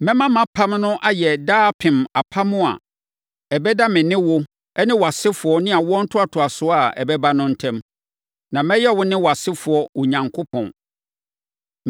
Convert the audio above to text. Mɛma mʼapam no ayɛ daapem apam a ɛbɛda me ne wo ne wʼasefoɔ ne awoɔ ntoatoasoɔ a ɛbɛba no ntam. Na mɛyɛ wo ne wʼasefoɔ Onyankopɔn.